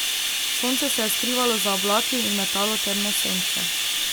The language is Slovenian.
Sonce se je skrivalo za oblaki in metalo temne sence.